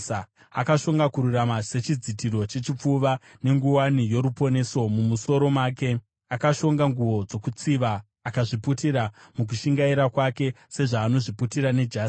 Akashonga kururama sechidzitiro chechipfuva, nenguwani yoruponeso mumusoro make; akashonga nguo dzokutsiva akazviputira mukushingaira kwake seanozviputira nejasi.